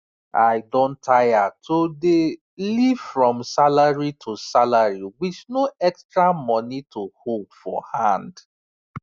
i don tire to dey live from salary to salary with no extra money to hold for hand